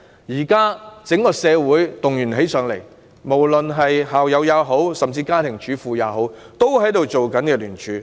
現時整個社會也動員，無論是校友或家庭主婦也參與聯署。